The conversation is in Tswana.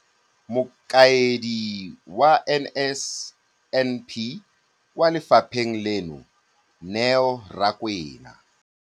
Mokaedi wa NSNP kwa lefapheng leno, Neo Rakwena.